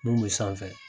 Mun bɛ sanfɛ